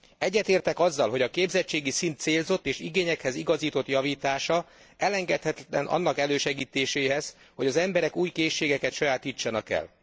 Egyetértek azzal, hogy a képzettségi szint célzott és igényekhez igazított javítása elengedhetetlen annak elősegítéséhez, hogy az emberek új készségeket sajátítsanak el.